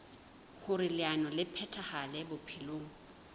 hoer leano le phethahale bophelong